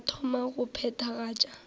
a ka thoma go phethagatša